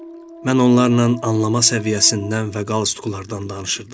Mən onlarla anlama səviyyəsindən və qalsutuklardan danışırdım.